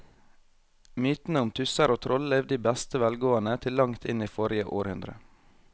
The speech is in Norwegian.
Mytene om tusser og troll levde i beste velgående til langt inn i forrige århundre.